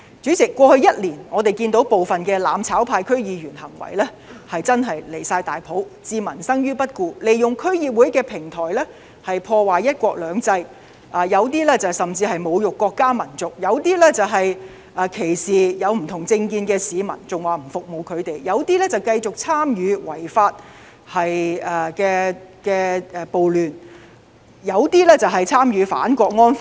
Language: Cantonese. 主席，過去1年，我們看到部分"攬炒派"區議員的行為實在"離晒大譜"，置民生於不顧，利用區議會平台破壞"一國兩制"，有人甚至侮辱國家民族；有一些則歧視不同政見的市民，更表明不會服務他們；有人繼續參與違法暴亂，也有一些人則參與反《香港國安法》。